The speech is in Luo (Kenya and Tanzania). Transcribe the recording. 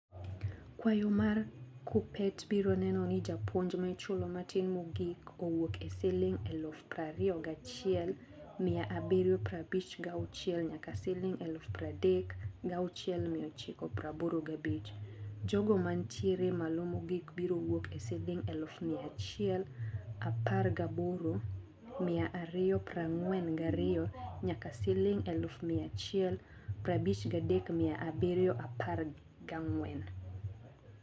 Kwayo mar kuppetbiro neno ni japuonj maichulo matin mogik owuok e siling eluf prario gachiel mia abirio prabich gauchiel nyaka siling eluf pradek gauchiel mia ochiko praboro gabich. Jogo manitiere malo mogik biro wuok e siling eluf mia achiel apar gaboro mia ario prang'wen gario nyaka siling eluf mia achiel prabich gadek mia abirio apar gang'wen.